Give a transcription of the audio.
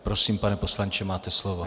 Prosím, pane poslanče, máte slovo.